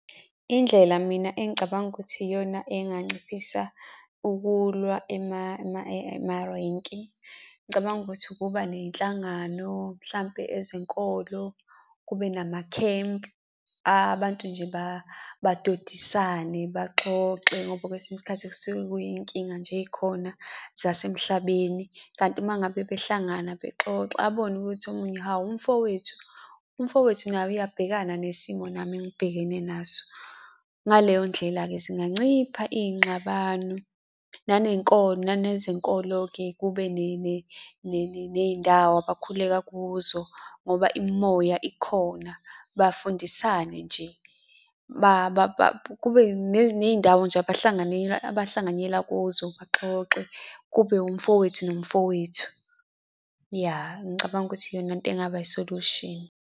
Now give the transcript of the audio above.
Indlela mina engicabanga ukuthi iyona enganciphisa ukulwa emarenki, ngicabanga ukuthi ukuba ney'nhlangano, mhlampe ezenkolo, kube nama-camp, abantu nje badodisane baxoxe ngoba kwesinye isikhathi kusuke kuyiy'nkinga nje ey'khona zasemhlabeni. Kanti uma ngabe behlangana bexoxa abone ukuthi omunye hhawu umfowethu, umfowethu naye uyabhekana nesimo nami engibhekene naso. Ngaleyo ndlela-ke zinganciphisa iy'ngxabano, nanenkolo nanezinkolo-ke kube ney'ndawo abakhuleka kuzo ngoba imimoya ikhona. Bafundisane nje kube ney'ndawo nje abahlanganela, abahlanganyela kuzo baxoxe kube umfowethu nomfowethu. Ya, ngicabanga ukuthi iyona into engaba i-solution.